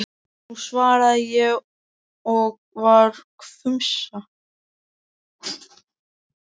Nú, svaraði ég og var hvumsa.